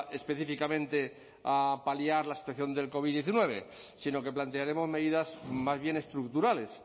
específicamente a paliar la situación del covid diecinueve sino que plantearemos medidas más bien estructurales